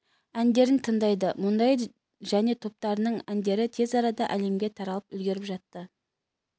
әндерін тындайды мұндай және топтарының әндері тез арада әлемге таралып үлгеріп жатты